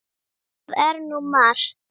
Það er nú margt.